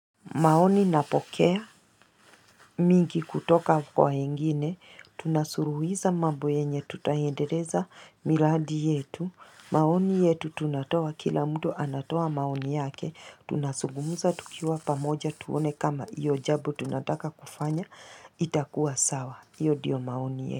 Maoni napokea mingi kutoka kwa wengine, tunasuluhisha mambo yenye tutaendeleza miradi yetu. Maoni yetu tunatoa kila mtu anatoa maoni yake, tunazungumuza tukiwa pamoja tuone kama iyo jambo tunataka kufanya, itakuwa sawa. Iyo ndiyo maoni yetu.